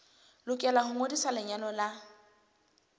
lokela ho ngodisa lenyalo la